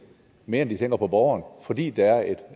end de tænker på borgeren fordi der er et